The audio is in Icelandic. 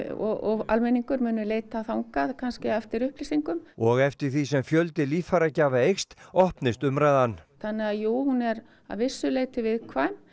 og almenningur munu leita þangað kannski eftir upplýsingum og eftir því sem fjöldi líffæragjafa eykst opnist umræðan þannig að jú hún er að vissu leyti viðkvæm